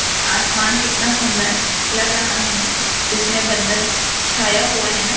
आसमान कितना सुंदर लग रहा है ना जिसमें बदल छाया हुआ है ना।